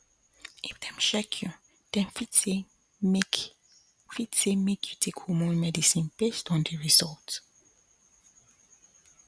if dem check you dem fit say make fit say make you take hormone medicine based on the result